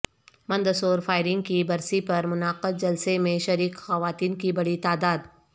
Mandsaur firing کی برسی پر منعقد جلسہ میں شریک خواتین کی بڑی تعداد